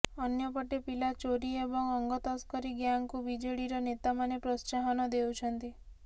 ଅନ୍ୟପଟେ ପିଲା ଚୋରି ଏବଂ ଅଙ୍ଗ ତସ୍କରୀ ଗ୍ୟାଙ୍ଗକୁ ବିଜେଡିର ନେତା ମାନେ ପୋତ୍ସାହନ ଦେଉଛନ୍ତି